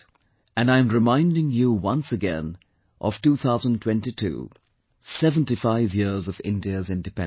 And I am reminding you once again of 2022, 75 years of India's Independence